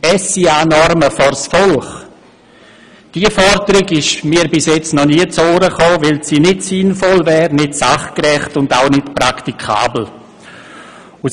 «SIA-Normen vors Volk!» – Diese Forderung ist mir bisher noch nie zu Ohren gekommen, wohl weil sie nicht sinnvoll nicht sachgerecht und auch nicht praktikabel wäre.